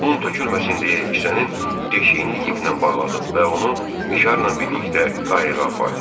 Un tökülməsin deyə kisənin deşiyini iplə bağladım və onu mişarla birlikdə qayığa apardım.